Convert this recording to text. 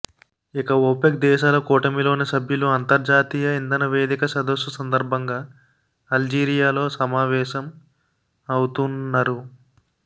ఇక ఒపెక్ దేశాల కూటమిలోని సభ్యులు అంతర్జాతీయ ఇంధన వేదిక సదస్సు సందర్భంగా అల్జీరియాలో సమావేశం అవుతూన్నరు